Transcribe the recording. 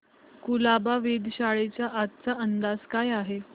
कुलाबा वेधशाळेचा आजचा अंदाज काय आहे